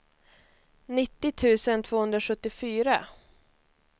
nittio tusen tvåhundrasjuttiofyra